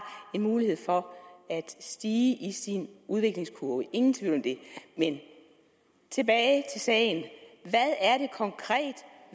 en mulighed for at stige i sin udviklingskurve ingen tvivl om det men tilbage til sagen hvad er det konkret